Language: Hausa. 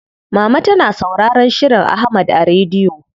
Mama tana sauraron shirin Ahmad a rediyo.